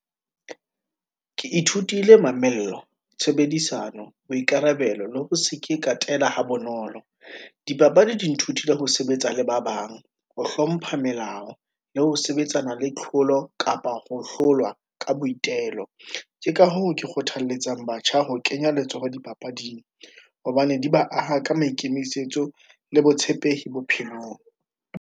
Ke ithutile mamello, tshebedisano, boikarabelo le ho se ke katela ha bonolo. Dipapadi di nthutile ho sebetsa le ba bang, ho hlompha melao, le ho sebetsana le tlholo, kapa ho hlolwa ka boitelo. Ke ka hoo ke kgothaletsa batjha ho kenya letsoho dipapading, hobane di ba aha ka maikemisetso le botshepehi bophelong.